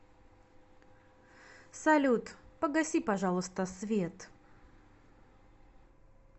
салют погаси пожалуйста свет